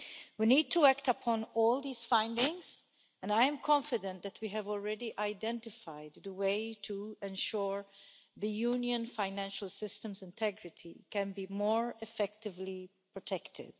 We need to act upon all these findings, and I am confident that we have already identified the way to ensure that the Union's financial systems' integrity is more effectively protected.